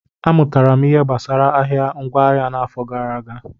M mụtara ihe gbasara ahịa ngwaahịa n'afọ gara aga.